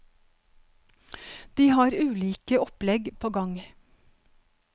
De har ulike opplegg på gang.